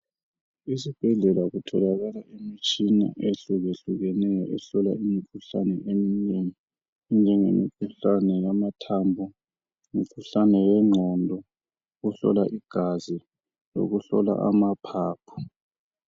Esibhedlela kutholakala imitshina ehlukahlukeneyo ehlola imikhuhlane eminengi enjengengomkhuhlane wamamathambo, owengqondo, ukuhlola igazi kanye lamaphaphu